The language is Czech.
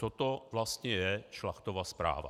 Co to vlastně je Šlachtova zpráva?